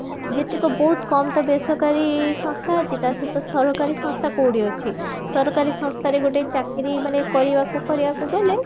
ଯେତିକ ବହୁତ କମ୍ ସଂସ୍ଥା ଅଛି ତା ସହିତ ସରକାରୀ ସଂସ୍ଥା କୋଉଠି ଅଛି ସରକାରୀ ସଂସ୍ଥାରେ ଗୋଟେ ଚାକିରୀ ମାନେ କରିବାକୁ କରିବାକୁ ଗଲେ